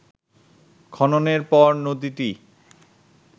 খননের পর নদীটি